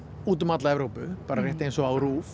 úti um alla Evrópu bara rétt eins og á